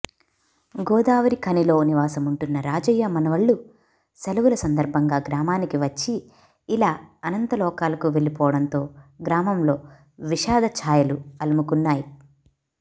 గోదావరిఖనిలో నివాసముంటున్న రాజయ్య మనవళ్లు సెలవుల సందర్భంగా గ్రామానికి వచ్చి ఇలా అనంతలోకాలకు వెళ్లిపోవడంతో గ్రామంలో విషాద ఛాయలు అలముకున్నాయి